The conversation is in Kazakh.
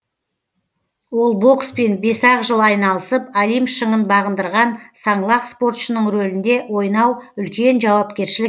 ол бокспен бес ақ жыл айналысып олимп шыңын бағындырған саңлақ спортшының рөлінде ойнау үлкен жауапкершілік